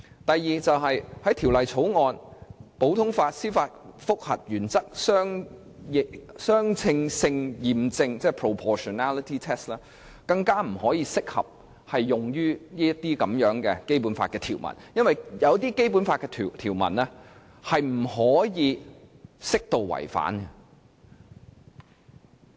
第二，普通法司法覆核原則的相稱性驗證，更加不適用於這些《基本法》條文，因為有些《基本法》條文是不可以適度違反的。